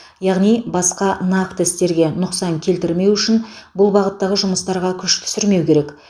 яғни басқа нақты істерге нұқсан келтірмеу үшін бұл бағыттағы жұмыстарға күш түсірмеу керек